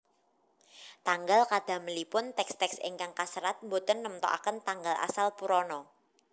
Tanggal kadamelipun teks teks ingkang kaserat boten nemtokaken tanggal asal Purana